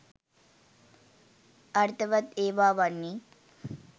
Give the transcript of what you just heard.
අර්ථවත් ඒවා වන්නේ